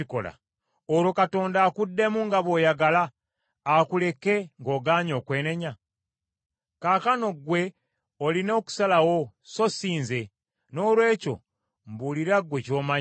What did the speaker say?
olwo Katonda akuddemu nga bw’oyagala, akuleke ng’ogaanye okwenenya? Kaakano ggwe olina okusalawo, so sinze; noolwekyo mbuulira ggwe ky’omanyi.